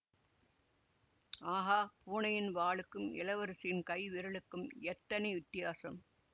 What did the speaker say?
ஆகா பூனையின் வாலுக்கும் இளவரசியின் கைவிரலுக்கும் எத்தனை வித்தியாசம்